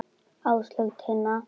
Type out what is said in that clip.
Áslaug og Tinna.